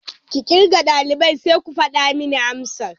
Ki kirga daliban sai ku fada min amsar.